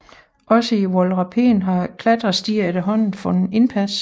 Også i Voralpen har klatrestier efterhånden fundet indpas